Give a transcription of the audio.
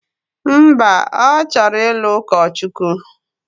Mba, ọ chọrọ ịlụ ụkọchukwu.